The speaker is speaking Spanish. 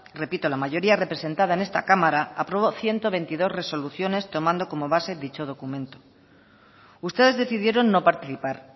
repito la mayoría representada en esta cámara aprobó ciento veintidós resoluciones tomando como base dicho documento ustedes decidieron no participar